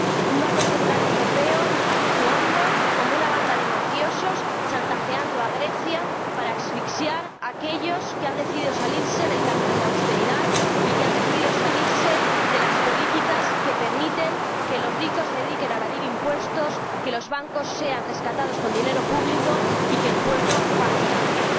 un Banco Central Europeo que actúa como una banda de mafiosos, chantajeando a Grecia para asfixiar a aquellos que han decidido salir del camino de la austeridad y que han decidido salir de las políticas que permiten que los ricos se dediquen a evadir impuestos, que los bancos sean rescatados con dinero público y que el pueblo pase hambre.